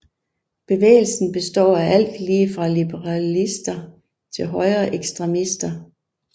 Bevægelsen består af alt lige fra liberalister til højreekstremister